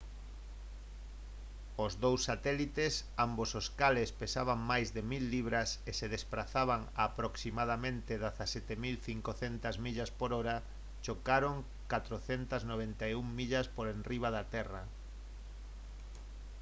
os dous satélites ambos os cales pesaban máis de 1000 libras e se desprazaban a aproximadamente 17 500 millas por hora chocaron 491 millas por enriba da terra